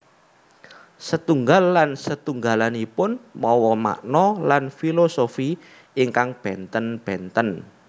Setunggal lan setunggalanipun mawa makna lan filosofi ingkang bènten bènten